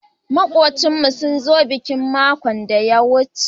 Makubchin mu sun zo bikin makon daya wuce.